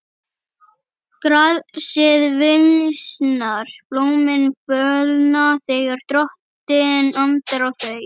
Grasið visnar, blómin fölna, þegar Drottinn andar á þau.